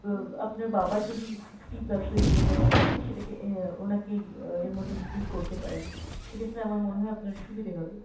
বো~ আপনার বাবার যদি sixty plus হয়ে গিয়ে থাকে তালে আপনি সেটাকে অ্যাঁ ওনাকে অ্যাঁ এর মধ্যে include করতে পারেন, সেক্ষেত্রে আমার মনেহয় আপনার সুবিধে হবে।